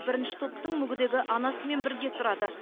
бірінші топтың мүгедегі анасымен бірге тұрады